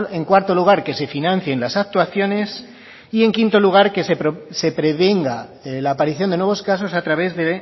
en cuarto lugar que se financien las actuaciones y en quinto lugar que se prevenga la aparición de nuevos casos a través de